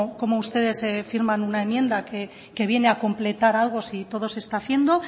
cómo ustedes firman una enmienda que viene a completar algo si todo se está haciendo